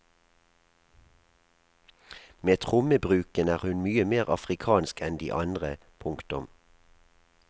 Med trommebruken er hun mye mer afrikansk enn de andre. punktum